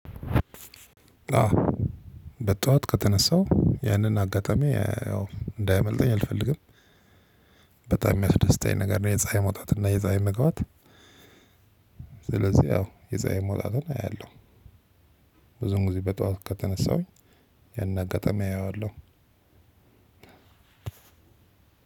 በጧት ከተነሳው ያንን አጋጣሚ እንዳያመልጠኝ አልፈልግም በጣም የሚያስደስተኝ ነገር ነው የፀሀይ መውጣት እና የፀሀይ መግባት ስለዚህ ያው የፀሀይ መውጣትን አያለሁ። ብዙውን ግዜ በጠዋት ከተነሳሁ ያንን አጋጣሚ አየዋለሁ